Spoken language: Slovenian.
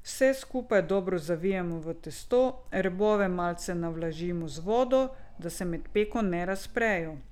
Vse skupaj dobro zavijemo v testo, robove malce navlažimo z vodo, da se med peko ne razprejo.